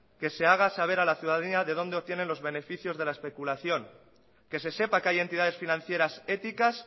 que se haga saber a la ciudadanía de dónde obtienen los beneficios de la especulación que se sepa que hay entidades financieras éticas